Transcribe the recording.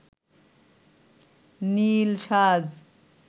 নীল সাজ